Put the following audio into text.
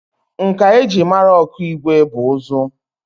Nka e ji mara Okigwe bụ ụzụ